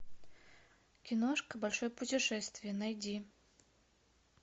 киношка большое путешествие найди